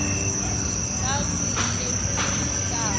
kakuhle kub ihlab